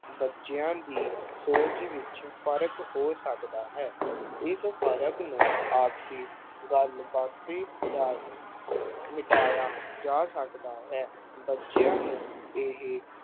ਬੱਚਿਆਂ ਦੀ ਸੋਚ ਵਿੱਚ ਫ਼ਰਕ ਹੋ ਸਕਦਾ ਹੈ। ਇਸ ਫ਼ਰਕ ਨੂੰ ਆਪਸੀ ਗੱਲਬਾਤ ਰਾਹੀਂ ਮਿਟਾਇਆ ਜਾ ਸਕਦਾ ਹੈ।